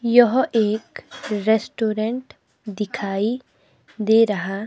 यह एक रेस्टोरेंट दिखाई दे रहा--